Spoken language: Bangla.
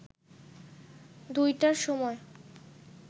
দুইটার সময়